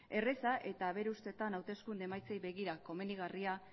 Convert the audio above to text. erreza eta bere ustetan hauteskunde emaitzei begira komenigarria